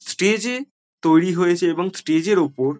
স্টেজেও তৈরী হয়েছে এবং স্টেজের ওপর।